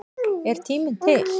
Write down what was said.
Er tíminn til?